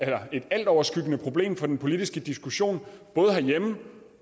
være et altoverskyggende problem for den politiske diskussion både herhjemme